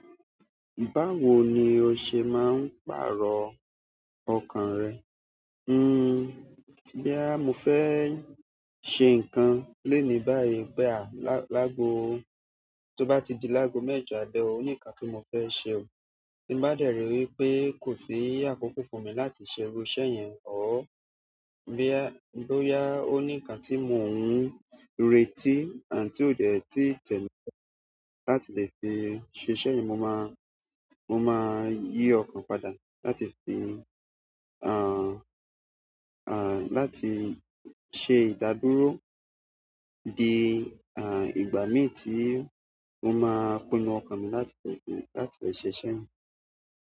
Báwo ni o ṣe máa ń pàrọ̀ ọkàn rẹ? Boyà mo fẹ́ ṣe nǹkan léèní báyìí pe à lá-- lágo, tó bá di lágo mẹ́jọ àlẹ́ ò, ó ní nǹkan tí mo fẹ́ ṣe. Tí n bá dẹ̀ rí wipé kò sí ákókó fún mi láti ṣe irú iṣẹ́ yẹn or, bóyá ó ní nǹkan tí mò ń retí and tí kò dẹ́ẹ̀ tí tẹ́lẹ̀ láti lè fi ṣe iṣẹ́ yẹn, mo má-- mo máa yí ọkàn padà láti fi, láti ṣe ìdádúró di, ìgbà mí tí mo máa pinnu ọkàn mi láti lè fi, láti lè ṣe iṣẹ́ yẹn.